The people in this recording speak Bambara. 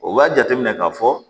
O b'a jateminɛ k'a fɔ